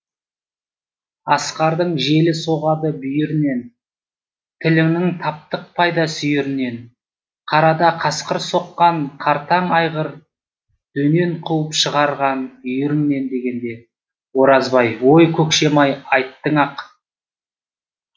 асқардың жел соғады бүйірінен тіліңнің таптық пайда сүйірінен қарада қасқыр соққан қартаң айғырдөнен қуып шығарған үйіріңнен дегенде оразбай ой көкшем ай айттың ақ